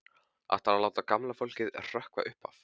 Ætlarðu að láta gamla fólkið hrökkva upp af?